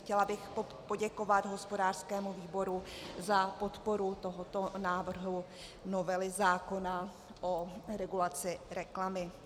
Chtěla bych poděkovat hospodářskému výboru za podporu tohoto návrhu novely zákona o regulaci reklamy.